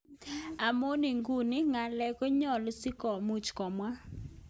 Amun iguno, ngalek konyalu si komuch komwa.,kawam